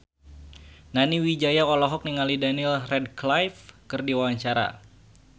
Nani Wijaya olohok ningali Daniel Radcliffe keur diwawancara